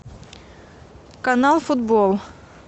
канал футбол